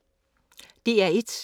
DR1